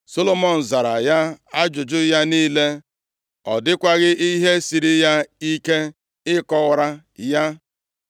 Solomọn zara ya ajụjụ ya niile. Ọ dịkwaghị ihe siiri ya ike ịkọwara ya.